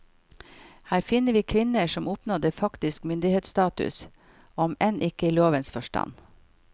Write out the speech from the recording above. Her finner vi kvinner som oppnådde faktisk myndighetsstatus, om enn ikke i lovens forstand.